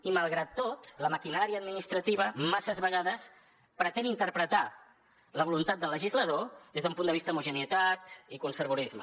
i malgrat tot la maquinària administrativa masses vegades pretén interpretar la voluntat del legislador des d’un punt de vista d’homogeneïtat i conservadorisme